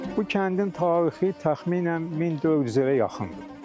Bu kəndin tarixi təxminən 1400 ilə yaxındır.